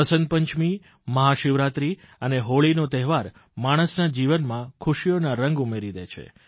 વસંતપંચમી મહાશિવરાત્રી અને હોળીનો તહેવાર માણસના જીવનમાં ખુશીઓના રંગ ઉમેરી દે છે